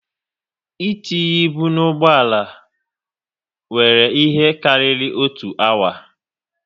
E tinye ibu na ụgbọala wéré ihe karịrị otu awa